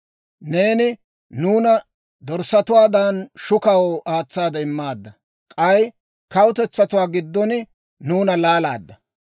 Neeni nuuna dorssatuwaadan shukaw aatsaade immaadda; k'ay kawutetsatuwaa giddon nuuna laalaadda.